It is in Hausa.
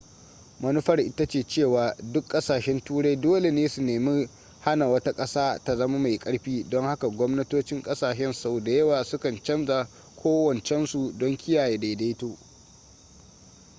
manufar ita ce cewa duk ƙasashen turai dole ne su nemi hana wata ƙasa ta zama mai ƙarfi don haka gwamnatocin ƙasashe sau da yawa sukan canza ƙawancensu don kiyaye daidaito